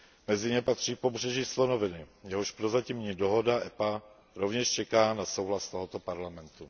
Mezi ně patří Pobřeží slonoviny, jehož prozatímní dohoda EPA rovněž čeká na souhlas tohoto Parlamentu.